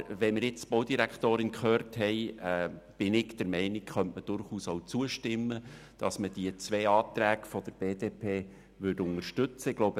Aber nachdem wir die Baudirektorin gehört haben, bin ich der Meinung, dass man durchaus auch zustimmen und die beiden Anträge der BDP unterstützen kann.